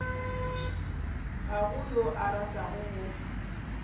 ga go yo a ratago